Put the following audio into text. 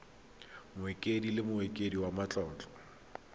mokaedi le mokaedi wa matlotlo